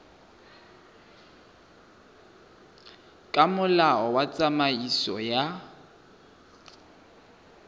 ka molao wa tsamaiso ya